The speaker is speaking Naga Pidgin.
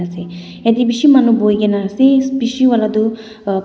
ase ede bishi manu buhi gina ase bishi wala du uh--